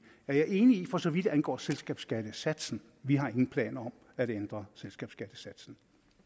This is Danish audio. er jeg enig i for så vidt angår selskabsskattesatsen vi har ingen planer om at ændre selskabsskattesatsen